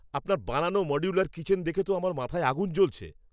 আপনার বানানো modular kitchen দেখে তো আমার মাথায় আগুন জ্বলছে!